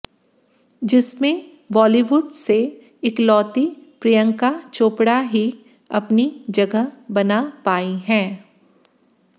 जिसमें बॉलीवुड से इकलौती प्रियंका चोपड़ा ही अपनी जगह बना पाईं हैं